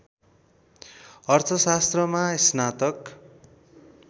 अर्थशास्त्रमा स्नातक